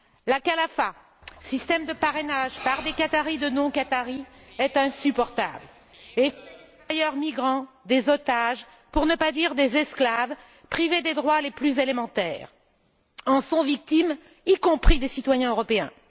La Kafala système de parrainage de non Qatariens par des Qatariens, est insupportable les travailleurs migrants, otages, pour ne pas dire esclaves, privés des droits les plus élémentaires, en sont victimes, y compris des citoyens européens.